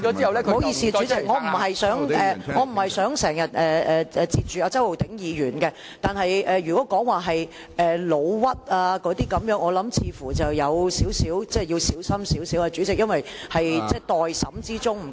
不好意思，主席，我不是想打斷周浩鼎議員的發言，但如果提到誣衊，我認為似乎要稍為小心，主席，因為案件在待審之中。